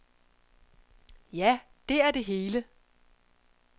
Ja, det er det hele.